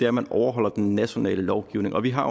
at man overholder den nationale lovgivning vi har